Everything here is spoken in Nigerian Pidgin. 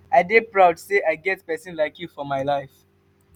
i dey proud sey i get pesin like you for my life.